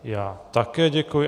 Já také děkuji.